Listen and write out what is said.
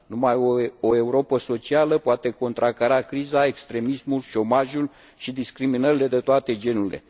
Numai o Europă socială poate contracara criza, extremismul, șomajul și discriminările de toate genurile.